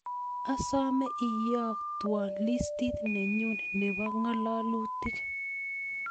Asome iyotwon liistiit nenyun nebo ngalalutik